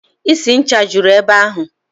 Isi ncha juru ebe ahụ.